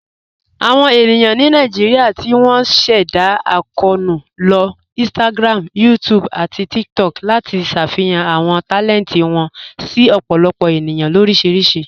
Awọn ènìyàn ni Naijíríà tí wọn sẹ̀dá akọọnu ló Instagram, YouTube, àti TikTok láti ṣáfíhàn àwọn talẹntì wọn sí ọ̀pọ̀lọpọ̀ ènìyàn oríṣiríṣì.